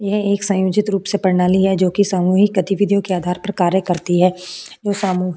यह एक सयोंजित रूप से प्रणाली है जो कि समूहिक गतिविधियों के आधार पर कार्य करती है वो सामू --